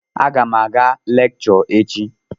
A gam aga lekshọ echi.